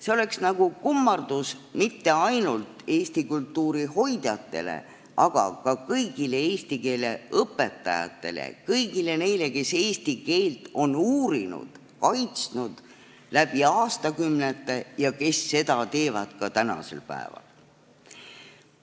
See oleks kummardus mitte ainult eesti kultuuri hoidjatele, aga ka kõigile eesti keele õpetajatele, kõigile neile, kes on eesti keelt uurinud ja kaitsnud läbi aastakümnete ja kes seda teevad ka tänasel päeval.